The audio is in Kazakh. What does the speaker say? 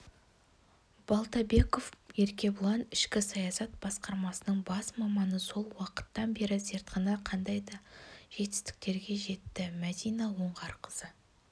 балтабеков еркебұлан ішкі саясат басқармасының бас маманы сол уақыттан бері зертхана қандай жетістіктерге жетті мәдина оңғарқызы